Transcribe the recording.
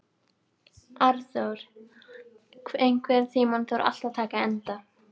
Arnþór, einhvern tímann þarf allt að taka enda.